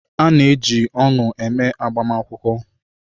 A na-eji ọṅụ eme agbamakwụkwọ.